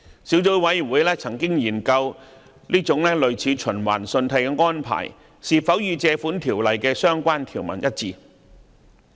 小組委員會曾研究這種類似循環信貸的安排是否與《條例》的相關條文一致。